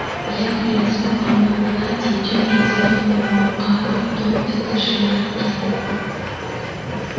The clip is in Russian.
я привезу вам на платье тёмно-зеленого муара в тон этой шляпке